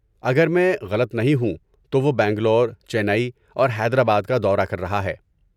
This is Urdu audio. اگر میں غلط نہیں ہوں تو وہ بنگلور، چینئی اور حیدرآباد کا دورہ کر رہا ہے۔